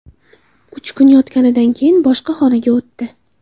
Uch kun yotganidan keyin boshqa xonaga o‘tdi.